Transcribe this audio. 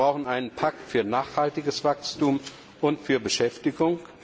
Wir brauchen einen Pakt für nachhaltiges Wachstum und für Beschäftigung.